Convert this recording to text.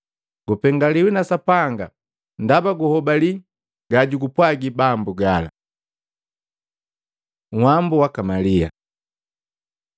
Gupengaliwi na Sapanga ndaba guhobali gajugupwagi Bambu gala!” Uhwambu waka Malia